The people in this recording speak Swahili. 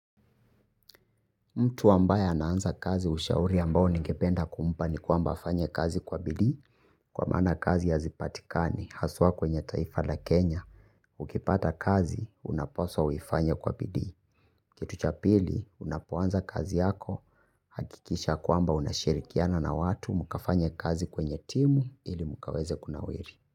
Mtu ambaye ana anza kazi ushauri ambao ningependa kumpa ni kwamba afanye kazi kwa bidii kwa maana kazi hazipatikani haswa kwenye taifa la Kenya. Ukipata kazi unapaswa uifanywe kwa bidii. Kitu cha pili unapo anza kazi yako hakikisha kwamba unashirikiana na watu mkafanya kazi kwenye timu ili mkaweze kunawiri.